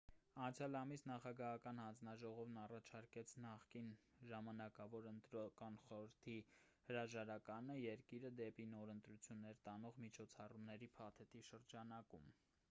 անցյալ ամիս նախագահական հանձնաժողովն առաջարկեց նախկին ժամանակավոր ընտրական խորհրդի cep հրաժարականը՝ երկիրը դեպի նոր ընտրությունները տանող միջոցառումների փաթեթի շրջանակում: